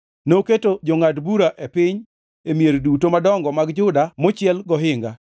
Noketo jongʼad bura e piny, e mier duto madongo mag Juda mochiel gohinga.